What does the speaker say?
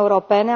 Doamnă președintă, în multe state membre ale Uniunii Europene